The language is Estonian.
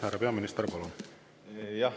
Härra peaminister, palun!